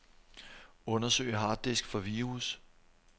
Undersøg harddisk for virus.